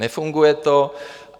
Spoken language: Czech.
Nefunguje to.